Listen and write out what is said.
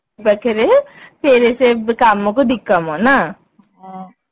ପାଖରେ ଫେରେ ସେ କାମ କୁ ଦି କାମ ନା